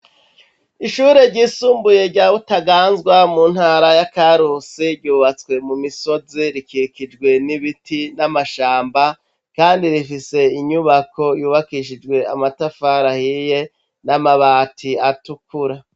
Ishure ryisumbuye rya Butaganzwa mu ntara ya Karusi ryubatswe mu misozi rikikijwe n'ibiti n'amashamba kandi rifise inyubako yubakishijwe amatafari ahiye n'amabati atukura.